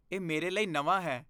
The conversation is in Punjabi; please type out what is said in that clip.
ਇਹ ਮੇਰੇ ਲਈ ਨਵਾਂ ਹੈ।